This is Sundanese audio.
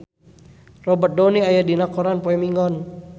Robert Downey aya dina koran poe Minggon